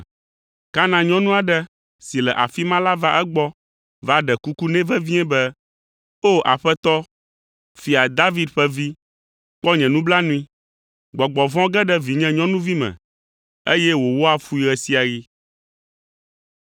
Kanan nyɔnu aɖe si le afi ma la va egbɔ va ɖe kuku nɛ vevie be, “O, Aƒetɔ, Fia David ƒe Vi, kpɔ nye nublanui! Gbɔgbɔ vɔ̃ ge ɖe vinye nyɔnuvi me, eye wòwɔa fui ɣe sia ɣi.”